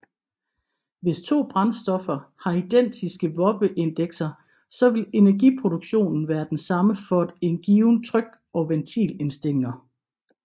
Hvis to brændstoffer har identiske Wobbe Indekser så vil energiproduktionen være den samme for en givne tryk og ventilindstilninger